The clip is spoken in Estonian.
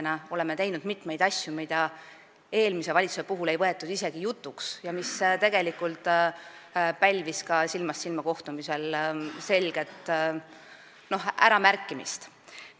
Me oleme teinud mitmeid asju, mida eelmine valitsus ei võtnud isegi jutuks, see pälvis tollel silmast silma kohtumisel ka selget äramärkimist.